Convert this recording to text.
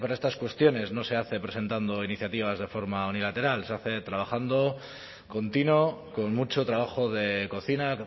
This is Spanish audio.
estas cuestiones no se hace presentando iniciativas de forma unilateral se hace trabajando continuo con mucho trabajo de cocina